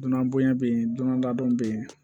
Dunanbonya bɛ yen donda dɔ bɛ yen